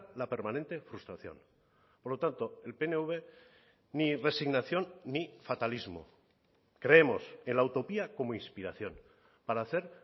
la permanente frustración por lo tanto el pnv ni resignación ni fatalismo creemos en la utopía como inspiración para hacer